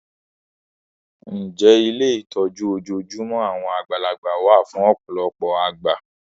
Ǹjẹ́ ilé ìtọ́jú ojoojúmọ́ àwọn àgbàlagbà wá fún ọ̀pọ̀lọpọ̀ àgbà?